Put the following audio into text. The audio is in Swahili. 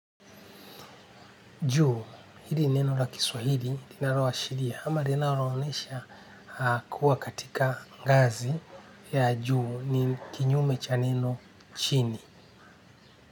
Juu hili neno la kiswahili linaloashiria ama linaloaonesha kuwa katika ngazi ya juu ni kinyume cha neno chini.